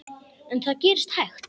En það gerist hægt.